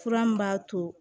Fura min b'a to